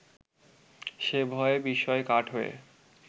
সে ভয়ে বিস্ময়ে কাঠ হয়ে